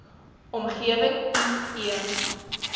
omgewing i e